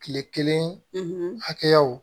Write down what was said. Kile kelen hakɛyaw